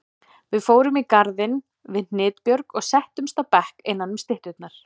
Við fórum í garðinn við Hnitbjörg og settumst á bekk innanum stytturnar.